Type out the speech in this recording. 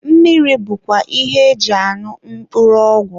mmiri bụkwa ihe eji añụ mkpụrụ ọgwụ.